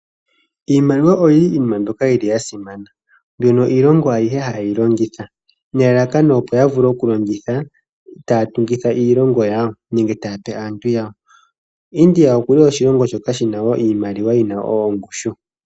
Iimaliwa oyo iinima mbyoka ya simana, mono iilongo ayihe hayi yi longitha nelalakano opo ya vule okulongitha taya tungitha iilongo yawo nenge taya pe aantu yawo. India oku li oshilongo shoka shi na wo iimaliwa yi na ongushu.